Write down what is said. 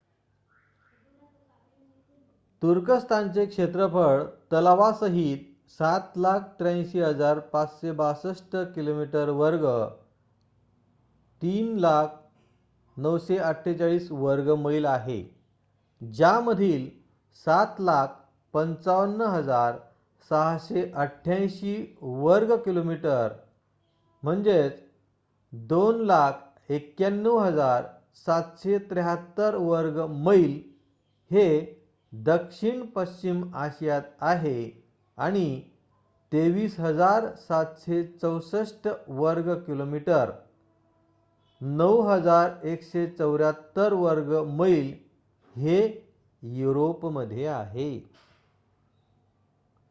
तुर्कस्थानचे क्षेत्रफळ तलावासाहित 783,562 किमी वर्ग 300,948 वर्ग मैल आहे ज्यामधील 755,688 वर्ग किलोमीटर 291,773 वर्ग मैल हे दक्षिण पश्चिम आशियात आहे आणि 23,764 वर्ग किलोमीटर 9,174 वर्ग मैल हे युरोपमध्ये आहे